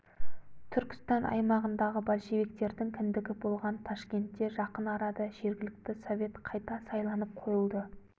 түркістан аймағындағы большевиктердің кіндігі болған ташкентте жақын арада жергілікті совет қайта сайланып қойылды